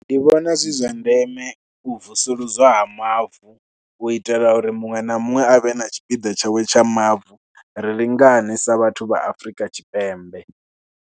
Ndi vhona zwi zwa ndeme u vusuludzwa ha mavu u itela uri muṅwe na muṅwe a vhe na tshipiḓa tshawe tsha mavu. Ri lingane sa vhathu vha Afrika Tshipembe.